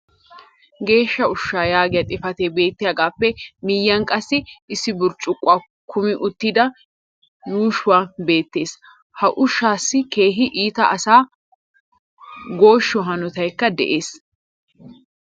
geeshsha ushshaa yaagiya xifatee beettiyaagaappe miyyiyan qassi issi burccukkuwa kummi uttida ushshay beetees. ha ushshaassi keehi iita asaa gooshshiyo hanottaykka de'ees.